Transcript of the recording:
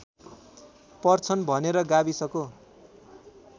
पर्छन् भनेर गाविसको